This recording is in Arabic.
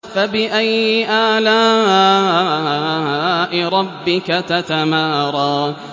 فَبِأَيِّ آلَاءِ رَبِّكَ تَتَمَارَىٰ